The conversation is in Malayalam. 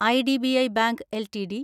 IDBI bank LTD